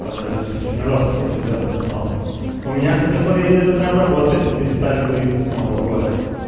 в подъездах сейчас очень жёстко с этим делом стало у меня кстати в подъезде это прям работает перестали курить вот с нового года